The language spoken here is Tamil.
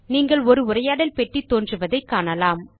நீங்கள் ஒரு உரையாடல் பெட்டி தோன்றுவதை காணலாம்